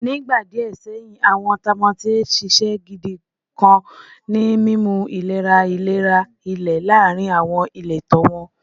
Ni igba diẹ sẹhin, awọn tamotiye ṣiṣẹ gidi kan ni mimu ilera ilera ile laarin awọn ileto wọn.